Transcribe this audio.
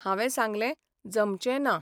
हावें सांगलें, जमचें ना.